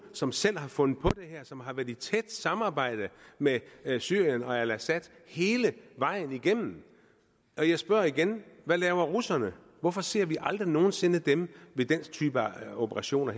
som selv har fundet på det her som har været i tæt samarbejde med syrien og assad hele vejen igennem jeg spørger igen hvad laver russerne hvorfor ser vi aldrig nogensinde dem ved den type operationer